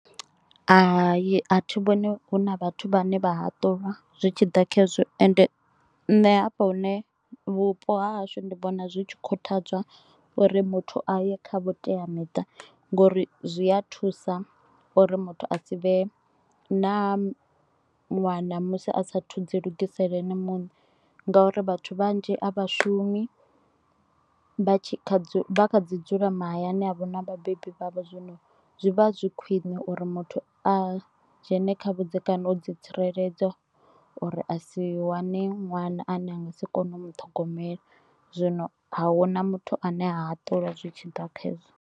Hai a thi vhoni hu na vhathu vhane vha haṱulwa zwi tshiḓa kha hezwo ende ṋne hafha hune vhupo ha hashu ndi vhona zwi tshi khuthadzwa uri muthu aye kha vhutea miṱa, ngo uri zwi a thusa uri muthu a si vhe na ṅwana musi a sa thu dzi lugisela ene muṋe ngauri vhathu vhanzhi a vhashumi. Vha tshi kha vha kha ḓi dzula mahayani avho na vhabebi vhavho zwino zwi vha zwi khwine u uri muthu a dzhene kha vhudzekani u dzi tsireledza uri a si wane ṅwana ane a nga si kone u muṱhogomela, zwino a huna muthu ane a haṱulwa zwitshi ḓa kha hezwo.